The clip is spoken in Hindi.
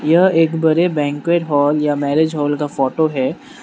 यह एक बड़े बैंक्वेट हॉल या मैरिज हॉल का फोटो है।